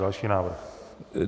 Další návrh.